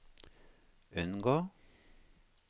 unngå